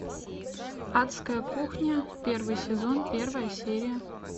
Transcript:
адская кухня первый сезон первая серия